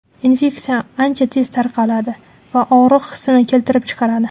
Infeksiya ancha tez tarqaladi va og‘riq hissini keltirib chiqaradi.